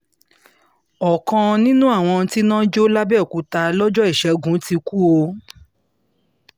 ọ̀kan nínú àwọn tíná jọ làbẹ́òkúta lọ́jọ́ ìṣègùn ti kú o